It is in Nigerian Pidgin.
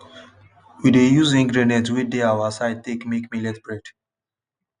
we dey use ingredients wey dey our side take make millet bread